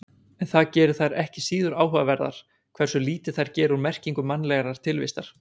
En það gerir þær ekki síður áhugaverðar hversu lítið þær gera úr merkingu mannlegrar tilvistar.